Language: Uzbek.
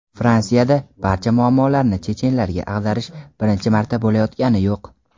Fransiyada barcha muammolarni chechenlarga ag‘darish birinchi marta bo‘layotgani yo‘q.